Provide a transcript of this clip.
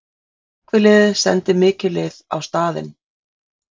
Slökkviliðið sendi mikið lið á staðinn